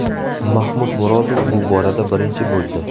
Mahmud Murodov bu borada birinchi bo‘ldi.